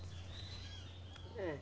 É.